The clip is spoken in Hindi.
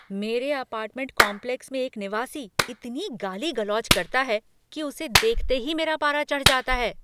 मेरे अपार्टमेंट कॉम्प्लेक्स में एक निवासी इतनी गाली गलौज करता है कि उसे देखते ही मेरा पारा चढ़ जाता है।